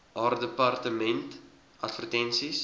haar departement advertensies